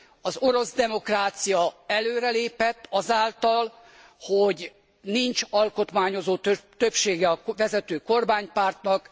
Az orosz demokrácia előrelépett azáltal, hogy nincs alkotmányozó többsége a vezető kormánypártnak.